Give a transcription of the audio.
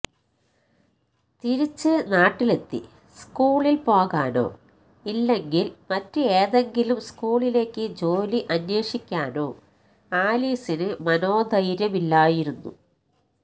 തിരിച്ച് നാട്ടിലെത്തി സ്കൂളില് പോകാനോ ഇല്ലെങ്കില് മറ്റ് ഏതെങ്കിലും സ്കൂളിലേക്ക് ജോലി അന്വേഷിക്കാനോ ആലീസിന് മനോധൈര്യമില്ലായിരുന്നു